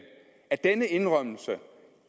at denne indrømmelse